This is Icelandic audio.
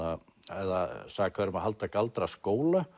eða sakaður um að halda galdraskóla